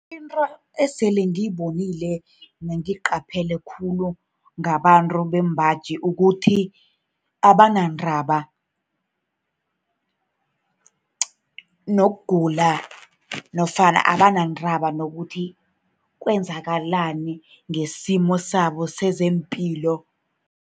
Into esele ngiyibonile nengiyiqaphele khulu ngabantu bembaji, kukuthi abanandaba nokugula, nofana abanandaba nokuthi kwenzakalani ngesimo sabo sezepilo.